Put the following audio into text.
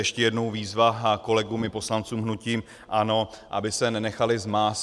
Ještě jednou výzva kolegům i poslancům hnutí ANO, aby se nenechali zmást.